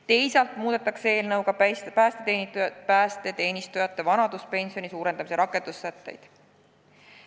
Teisalt muudetakse eelnõuga päästeteenistujate vanaduspensioni suurendamist käsitlevaid rakendussätteid.